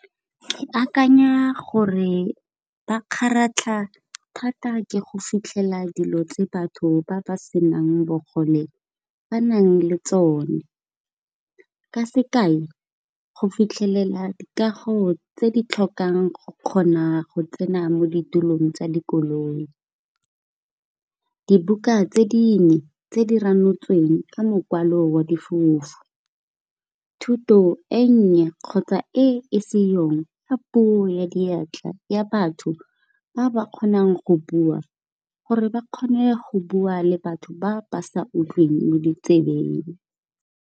Ke akanya gore ba kgaratlha thata ke go fitlhela dilo tse batho ba ba senang bogole ba nang le tsone. Ka sekae go fitlhelela dikago tse di tlhokang go kgona go tsena mo ditulong tsa dikoloi. Dibuka tse dingwe tse di ranotsweng ka mokwalo wa difofu, thuto e nnye kgotsa e seyong puo ya diatla, ya batho ba ba kgonang go bua gore ba kgone go bua le batho ba ba sa utlwileng mo ditsebeng.